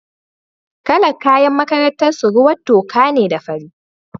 Kalar kayan makarantar su ruwan toka ne da fari.